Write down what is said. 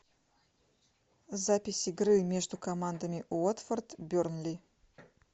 запись игры между командами уотфорд бернли